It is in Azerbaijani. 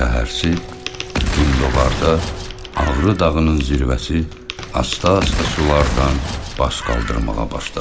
Səhərsi gün doğarda Ağrı dağının zirvəsi asta-asta sulardan bas qaldırmağa başladı.